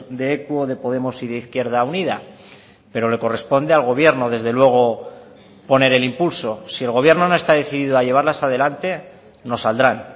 de equo de podemos y de izquierda unida pero le corresponde al gobierno desde luego poner el impulso si el gobierno no está decidido a llevarlas a delante no saldrán